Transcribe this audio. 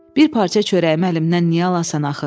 Bir parça çörəyimi əlimdən niyə alasan axı?